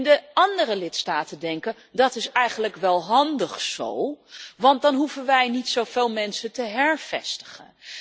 De andere lidstaten denken dat is eigenlijk wel handig zo want dan hoeven wij niet zoveel mensen te hervestigen.